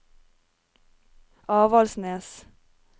Avaldsnes